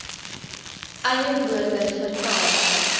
eie woorde vertel